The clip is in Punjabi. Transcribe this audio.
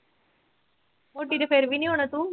ਮੋਟੀ ਤੇ ਫਿਰ ਵੀ ਨੀ ਹੋਣਾਂ ਤੂੰ।